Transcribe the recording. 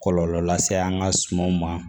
Kɔlɔlɔ lase an ka sumanw ma